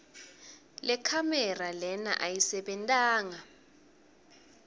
lekhamera lena ayisebentanga